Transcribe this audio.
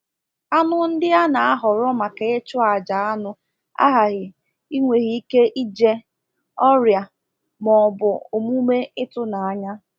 Anụ ndị a na-ahọrọ maka ịchụ aja anụ aghaghị ịnweghị ike ije, ọrịa, ma ọ bụ omume ịtụnanya.